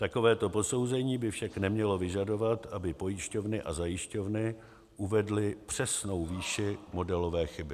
Takovéto posouzení by však nemělo vyžadovat, aby pojišťovny a zajišťovny uvedly přesnou výši modelové chyby.